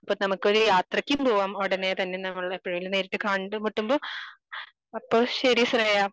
അപ്പൊ നമ്മുക്കൊരു യാത്രക്ക് പോവാം ഉടനെ തന്നെ നമ്മൾടെ നേരിട്ട് കണ്ട് മുട്ടുമ്പോൾ അപ്പൊ ശരി ശ്രേയ